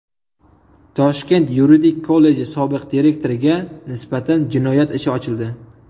Toshkent yuridik kolleji sobiq direktoriga nisbatan jinoyat ishi ochildi.